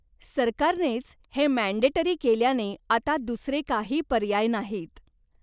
सरकारनेच हे मँडेटरी केल्याने आता दुसरे काही पर्याय नाहीत.